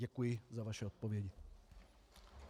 Děkuji za vaši odpověď.